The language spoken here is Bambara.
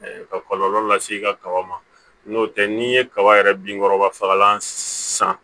ka kɔlɔlɔ lase i ka kaba ma n'o tɛ n'i ye kaba yɛrɛ binkɔrɔba fagalan san